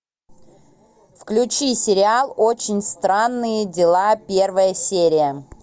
включи сериал очень странные дела первая серия